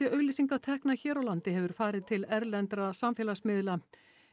auglýsingatekna hér á landi hefur farið til erlendra samfélagsmiðla